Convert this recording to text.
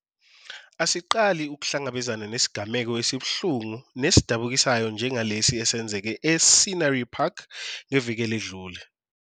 Asiqali ukuhlangabezana nesigameko esibuhlungu nesidabukisayo njengalesi esenzeke e-Scenery Park ngeviki eledlule.